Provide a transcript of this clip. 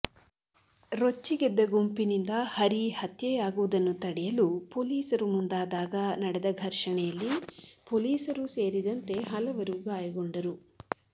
ರೊಚ್ಚಿಗೆದ್ದ ಗುಂಪಿನಿಂದ ಹರಿ ಹತ್ಯೆಯಾಗುವುದನ್ನು ತಡೆಯಲು ಪೊಲೀಸರು ಮುಂದಾದಾಗ ನಡೆದ ಘರ್ಷಣೆಯಲ್ಲಿ ಪೊಲೀಸರೂ ಸೇರಿದಂತೆ ಹಲವರು ಗಾಯಗೊಂಡರು